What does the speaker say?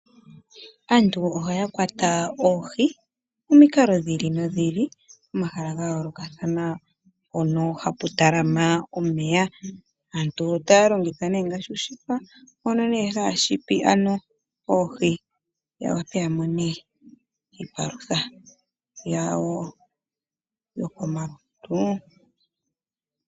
Aantu ohaya kwata oohimomikalo dhiili no dhili, pomahala ga yoolokathana mpono hapu talama omeya, aantu otaya longitha ne ngashi oonete, oku kwata oohi, ya vule ya mone iipalutha yawo yo komalutu.